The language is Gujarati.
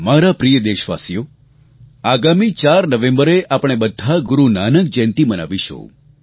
મારા પ્રિય દેશવાસીઓ આગામી 4 નવેમ્બરે આપણે બધા ગુરૂ નાનક જયંતી મનાવીશું